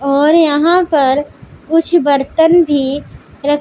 और यहां पर कुछ बर्तन भी रख--